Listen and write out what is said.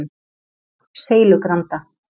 Seilugranda